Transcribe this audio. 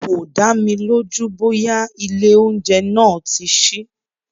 Kò dámi lójú bóyá ilé oúnjẹ náà tí sí.